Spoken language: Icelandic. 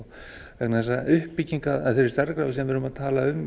vegna þess að uppbygging af þeirri stærðargráðu sem við erum að tala um